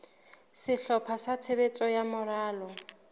sehlopha sa tshebetso sa moralo